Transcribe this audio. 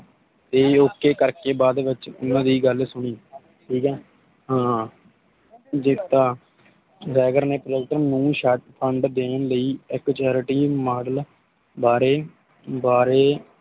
ਦੇ Ok ਕਰਕੇ ਬਾਦ ਵਿਚ ਪੂਰੀ ਗੱਲ ਸੁਣੀ ਠੀਕ ਆ ਹਾਂ ਹਾਂ ਦਿੱਤਾ ਵੈਗਰ ਨੇ ਪਲੇਜ਼ਰ ਨੂੰ ਸ਼ੱਤ ਖੰਡ ਦੇਣ ਲਈ ਇਕ Authority Model ਬਾਰੇ ਬਾਰੇ